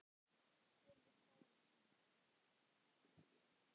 spurði Þórunn enn.